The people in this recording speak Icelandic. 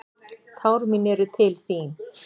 Tár mín eru til þín.